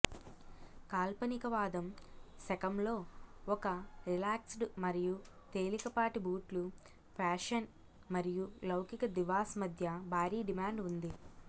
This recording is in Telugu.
కాల్పనికవాదం శకంలో ఒక రిలాక్స్డ్ మరియు తేలికపాటి బూట్లు ఫ్యాషన్ మరియు లౌకిక దివాస్ మధ్య భారీ డిమాండ్ ఉంది